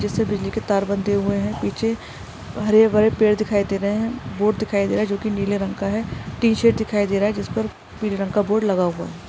जिससे बिजली के तार बनते हुए है पीछे हरे भरे पेड़ दिखाई दे रहे है बोर्ड दिखाई दे रहा है जो की नीले रंग का है टीशर्ट दिखाई दे रहा है जीसपर पीले रंग का बोर्ड लगा हुआ है।